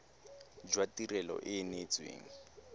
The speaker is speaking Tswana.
jwa tirelo e e neetsweng